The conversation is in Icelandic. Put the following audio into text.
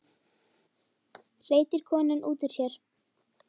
hreytir konan út úr sér.